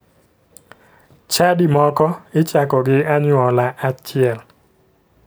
Chadi moko ichako gi anyuola achiel